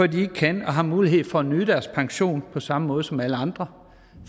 de ikke kan og har mulighed for at nyde deres pension på samme måde som alle andre